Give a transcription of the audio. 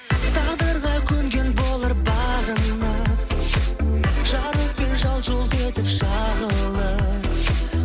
тағдырға көнген болар бағынып жарықпен жалт жұлт етіп шағылып